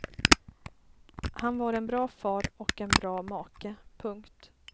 Han var en bra far och en bra make. punkt